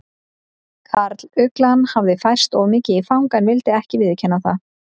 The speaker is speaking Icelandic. Karluglan hafði færst of mikið í fang en vildi ekki viðurkenna það.